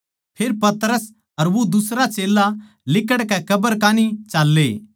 फेर पतरस अर वो दुसरा चेल्ला लिकड़कै कब्र कै कान्ही चाल्ले